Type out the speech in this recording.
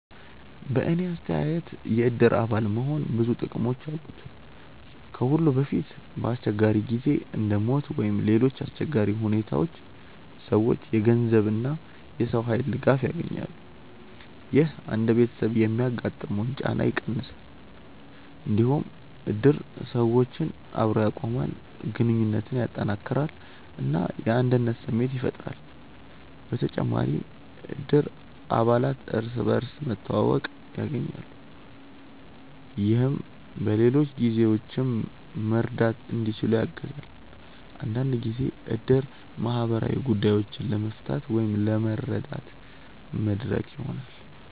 በእኔ አስተያየት የእድር አባል መሆን ብዙ ጥቅሞች አሉት። ከሁሉ በፊት በአስቸጋሪ ጊዜ እንደ ሞት ወይም ሌሎች አሰቸጋሪ ሁኔታዎች ሰዎች የገንዘብ እና የሰው ኃይል ድጋፍ ያገኛሉ። ይህ አንድ ቤተሰብ የሚያጋጥመውን ጫና በጣም ይቀንሳል። እንዲሁም እድር ሰዎችን አብሮ ያቆማል፣ ግንኙነትን ያጠናክራል እና የአንድነት ስሜት ያፈጥራል። በተጨማሪም እድር አባላት እርስ በርስ መተዋወቅ ያገኛሉ፣ ይህም በሌሎች ጊዜዎችም መርዳት እንዲችሉ ያግዛል። አንዳንድ ጊዜ እድር ማህበራዊ ጉዳዮችን ለመፍታት ወይም ለመረዳት መድረክ ይሆናል።